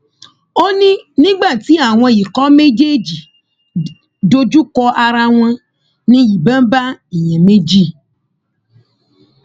ó ní nígbà tí àwọn ikọ méjèèjì dojúkọ ara wọn ní ìbọn bá èèyàn méjì